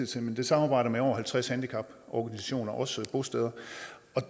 som samarbejder med over halvtreds handicaporganisationer og også bosteder